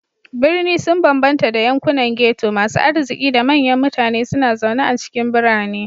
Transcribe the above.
Birni sun bambanta da yankunan ghetto, masu arziki da manyan mutane suna zaune a cikin birane.